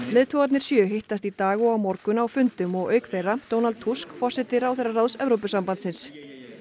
leiðtogarnir sjö hittast í dag og á morgun á fundum og auk þeirra Donald Tusk forseti ráðherraráðs Evrópusambandsins